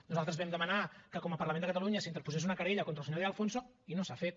nosaltres vam demanar que com a parlament de catalunya s’interposés una querella contra el senyor de alfonso i no s’ha fet